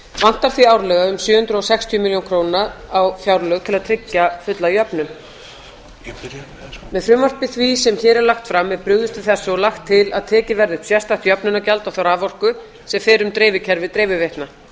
vantar því árlega um sjö hundruð og sextíu milljónir króna á fjárlög til að tryggja fulla jöfnun með frumvarpi því sem hér er lagt fram er brugðist við þessu og lagt til að tekið verði upp sérstakt jöfnunargjald á þá raforku sem fer um dreifikerfið dreifiveitna